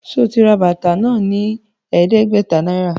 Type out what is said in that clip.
Ṣe o rà bàtà náà ní ẹdẹgbẹta náírà?